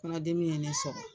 Kɔnɔdimi ye ne sɔrɔ